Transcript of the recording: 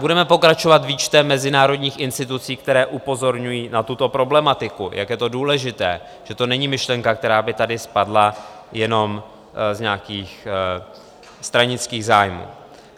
Budeme pokračovat výčtem mezinárodních institucí, které upozorňují na tuto problematiku, jak je to důležité, že to není myšlenka, která by tady spadla jenom z nějakých stranických zájmů.